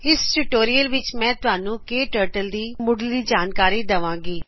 ਇਸ ਟਯੂਟੋਰਿਅਲ ਵਿਚ ਮੈਂ ਤੁਹਾਨੂੰ ਕੇ ਟਰਟਲ ਦੀ ਮੁਡਲੀ ਜਾਣਕਾਰੀ ਦਵਾਗੀ